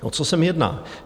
O co se mi jedná?